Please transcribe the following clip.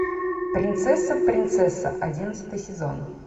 принцесса принцесса одиннадцатый сезон